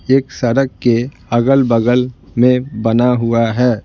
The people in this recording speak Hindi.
एक सड़क के अगल-बगल में बना हुआ है।